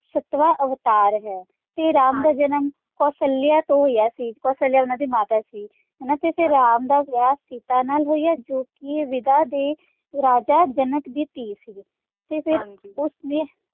ਸੱਤਵਾਂ ਅਵਤਾਰ ਹੈ ਤੇ ਰਾਮ ਦਾ ਜਨਮ ਕੋਸ਼ਾਲਯਾ ਤੋਂ ਹੋਇਆ ਸੀ, ਕੋਸ਼ਾਲਯਾ ਉਹਨਾਂ ਦੀ ਮਾਤਾ ਸੀ ਹਨਾ ਤੇ ਰਾਮ ਦਾ ਵਿਆਹ ਸੀਤਾ ਨਾਲ ਹੋਇਆ ਜੋਕਿ ਵੇਦਾਂ ਦੇ ਰਾਜਾ ਜਨਕ ਦੀ ਧੀ ਸੀ ਤੇ ਫੇਰ ਉਸਨੇ